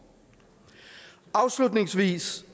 afslutningsvis